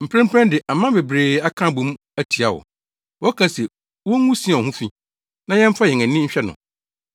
Mprempren de, aman bebree aka abɔ mu atia wo. Wɔka se, “Wongu Sion ho fi, na yɛmfa yɛn ani nhwɛ no!”